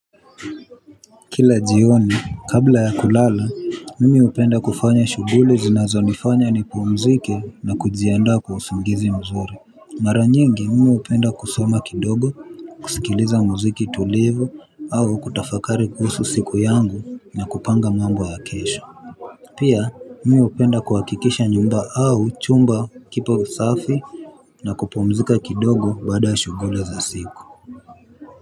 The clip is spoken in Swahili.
Kila jioni kabla ya kulala mimi hupenda kufanya shughuli zinazonifanya nipumzike na kujiandaa kwa usingizi mzuri. Mara nyingi mimi hupenda kusoma kidogo kusikiliza mziki tulivu au kutafakari kuhusu siku yangu na kupanga mambo ya kesho. Pia mimi hupenda kuhakikisha nyumba au chumba kipo usafi na kupumzika kidogo baada shughuli za siku.